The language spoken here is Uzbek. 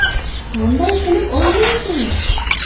Qanday qilib olmaysan?